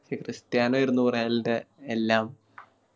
പക്ഷെ ക്രിസ്റ്റ്യാനോ ആയിരുന്നു ൻറെ എല്ലാം